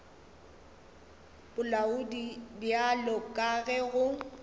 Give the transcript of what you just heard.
bolaodi bjalo ka ge go